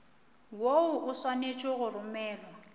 woo o swanetše go romelwa